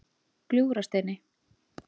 Gljúfrasteini